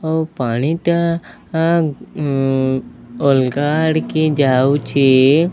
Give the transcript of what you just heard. ଆଉ ପାଣିଟା ଅଲଗା ଆଡିକି ଯାଉଛି।